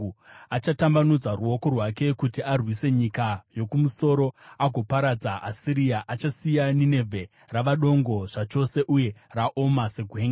Achatambanudza ruoko rwake kuti arwise nyika yokumusoro agoparadza Asiria, achasiya Ninevhe rava dongo zvachose uye raoma segwenga.